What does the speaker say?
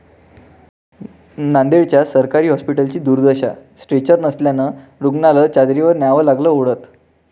नांदेड्च्या सरकारी हॉस्पिटलची दुर्दशा, स्ट्रेचर नसल्यानं रूग्णाला चादरीवर न्यावं लागलं ओढत